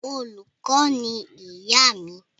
Olùkọ́ ni ìyá mi.